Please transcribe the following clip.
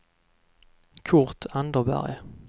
Kurt Anderberg